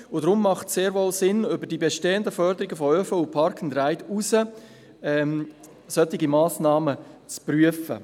Deshalb macht es sehr wohl Sinn, über die bestehenden Förderungen von ÖV und Parkand-ride hinaus solche Massnahmen zu prüfen.